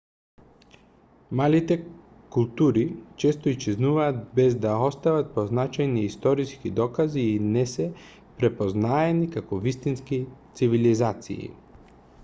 малите култури често исчезнуваат без да остават позначајни историски докази и не се препознаени како вистински цивилизации